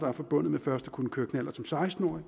er forbundet med først at kunne køre knallert som seksten årig